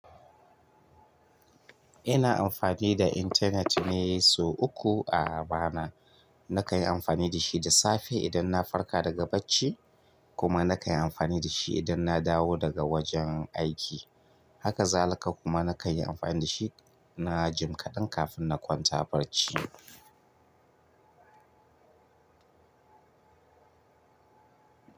Ina amfani da intanet ne sau uku a rana. Na kai amfani da shi da safe idan na farka daga bacci kuma na kan yi amfani da shi idan na dawo daga wajen aiki. Haka zalaka kuma na kai amfani da shi na jim kaɗan kafin na kwanta barci.